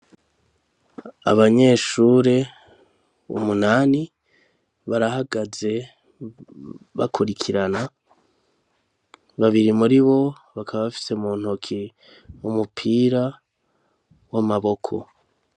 Abanyeshure umunani barahagaze bakurikirana. Babiri muri bo bakaba bafise mu ntoki umupira w'amaboko.